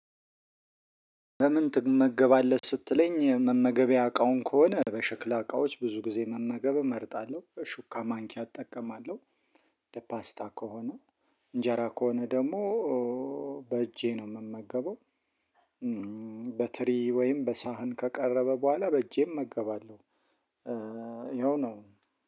በምን ትመገባለህ ስትለኝ መመገቢያ እቃውን ከሆነ በሽክላ እቃዎች ብዙ ግዜ መመገብ እመርጣለሁ። ሹካ ማንኪያ እጠቀማለሁ። ለፓስታ ከሆነ እንጀራ ከሆነ ደግሞ በእጄ ነው የምመገበው በትሪ ወይም በሳህን ከቀረበ በኋላ በእጄም እመገባለሁ ይኸው ነው።